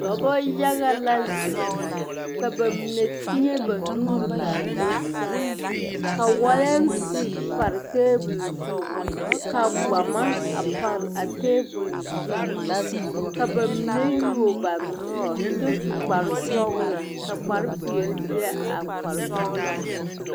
Dɔbɔ yaga la zeŋ ka ba mine teɛne ba nuuri ka do saa ka walaasi pare tebol zu ka gbama pareva tebol zu ka ba mine yuo ba nuuri kyɛ su kparresɔglɔ ka kparre peɛle a kparre sɔglɔ poɔ.